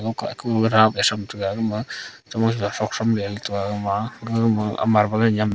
okah ku ra pa tham taiga agama taiga ama a gagama marble e nyam.